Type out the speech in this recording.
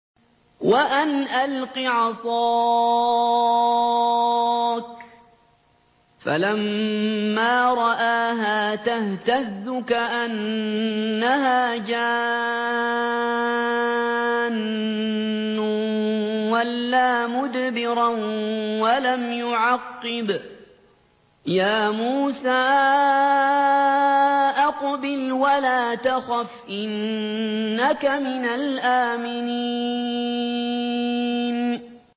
وَأَنْ أَلْقِ عَصَاكَ ۖ فَلَمَّا رَآهَا تَهْتَزُّ كَأَنَّهَا جَانٌّ وَلَّىٰ مُدْبِرًا وَلَمْ يُعَقِّبْ ۚ يَا مُوسَىٰ أَقْبِلْ وَلَا تَخَفْ ۖ إِنَّكَ مِنَ الْآمِنِينَ